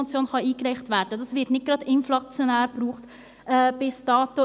Davon wurde bis dato nicht gerade inflationär Gebrauch gemacht.